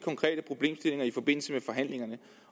konkrete problemstillinger i forbindelse med forhandlingerne